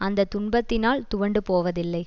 அந்த துன்பத்தினால் துவண்டு போவதில்லை